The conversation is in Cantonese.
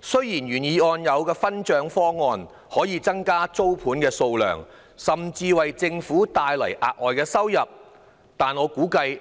雖然原議案的分享租金收入的方案可以增加租盤數量，甚至為政府帶來額外收益，但我估計，